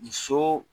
Muso